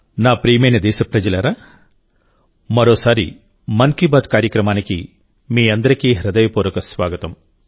నా ప్రియమైన దేశప్రజలారామరోసారి మన్ కీ బాత్ కార్యక్రమానికి మీ అందరికీ హృదయపూర్వక స్వాగతం